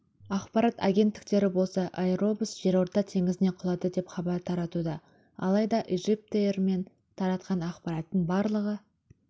ақпарат агенттіктері болса аэробус жерорта теңізіне құлады деп хабар таратуда алайда ижиптэйр мен таратқан ақпараттың барлығы